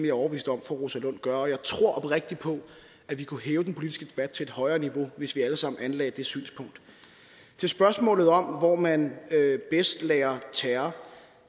er overbevist om fru rosa lund gør og jeg tror oprigtigt på at vi kunne hæve den politiske debat til et højere niveau hvis vi alle sammen anlagde det synspunkt til spørgsmålet om hvor man bedst lærer terror